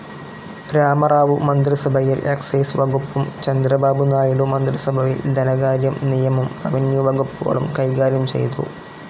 രാമറാവു മന്ത്രിസഭയിൽ എക്സൈസ്‌ വകുപ്പും ചന്ദ്രബാബുനായിഡു മന്ത്രിസഭയിൽ ധനകാര്യം, നിയമം, റെവന്യൂ വകുപ്പുകളും കൈകാര്യം ചെയ്തു.